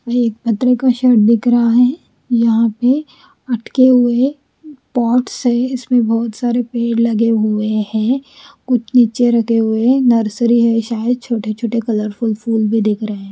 यह एक पत्रे का शेड दिख रहा है यहाॅं पे अटके हुए पॉट्स है इसमें बहोत सारे पेड़ लगे हुए हैं कुछ नीचे रखे हुए हैं नर्सरी है शायद छोटे छोटे कलरफुल फूल भी दिख रहे।